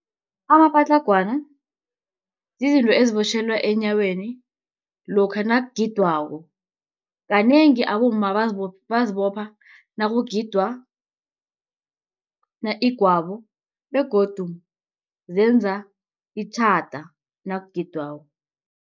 Amapatlagwana zizinto ezibotjhelwa enyaweni lokha nakugidwako, kanengi abomma bazibopha nakugidwa igwabo begodu zenza itjhada nakugidwako.